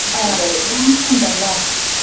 ಆ ಗಮ್ಮತ್ತುಂಟಲ್ಲ?